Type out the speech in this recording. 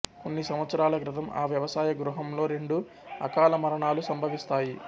కొన్ని సంవత్సరాల క్రితం ఆ వ్యవసాయ గృహంలో రెండు అకాల మరణాలు సంభవిస్తాయి